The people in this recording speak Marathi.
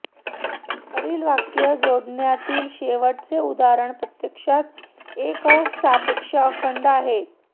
वरील वाक्य जोडण्यातील शेवटचे उदाहरण प्रत्यक्षात एक सापेक्ष खंड आहे